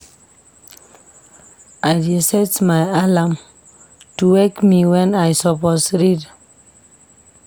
I dey set my alarm to wake me wen I suppose read.